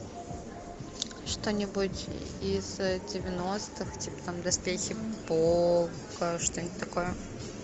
что нибудь из девяностых типа там доспехи бога что нибудь такое